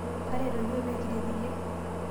tareto iyiok pee kiret iyie